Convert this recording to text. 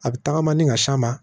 A bɛ tagama ni ka s'a ma